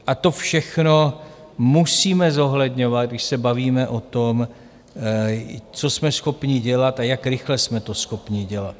A to všechno musíme zohledňovat, když se bavíme o tom, co jsme schopni dělat a jak rychle jsme to schopni dělat.